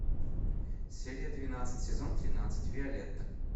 серия двенадцать сезон тринадцать виолетта